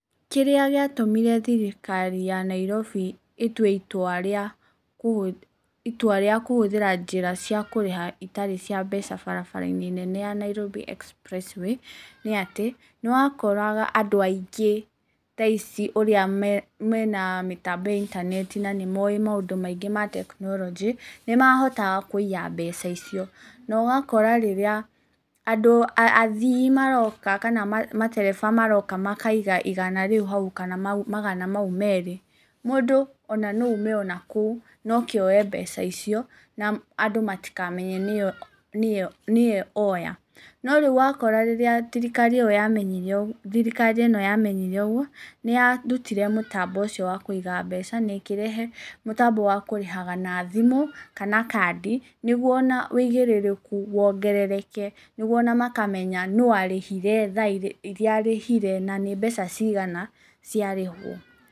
Kĩrĩa gĩatũmire thirikari ya Nairobi ĩtue itua rĩa, itua rĩa kũhũthĩra njĩra cia kũrĩha itarĩ cia mbeca barabara-inĩ nene ya Nairobi express way, nĩ atĩ, nĩwakoraga andũ aingĩ thaa ici ũrĩa mena mĩtambo ya intaneti na nĩmoĩ maũndũ maingĩ ma technology nĩmahotaga kũiya mbeca icio, na ũgakora rĩrĩa andũ, athii maroka kana matereba maroka makaiga igana rĩu hau kana magana mau merĩ, mũndũ ona noaume onakũu, na oke oe mbeca icio, na andũ matikamenye nĩwe woya. Norĩu ũrakora rĩrĩa thirikari ĩyo yamenyire ũguo, thirikari ĩyo yamenyire ũguo, nĩyarutire mũtambo ũciio wakũiga mbeca, na ĩkĩrehe mũtambo wa kũrĩhaga na thimũ, kana kandi, nĩguo ona wigĩrĩrĩku wongerereke, nĩguo ona makamenya, nũ arĩhirwe, thaa iria arĩhire, na nĩ mbeca cigana ciarĩhwo.